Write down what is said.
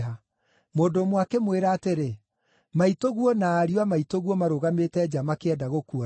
Mũndũ ũmwe akĩmwĩra atĩrĩ, “Maitũguo na ariũ a maitũguo marũgamĩte nja makĩenda gũkuona.”